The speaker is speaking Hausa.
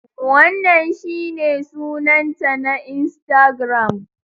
Wannan shine sunanta na Instagram.